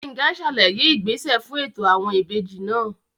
Gbénga sàlàyé ìgbésẹ fún ètò àwọn ìbejì náà